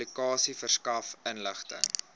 publikasie verskaf inligting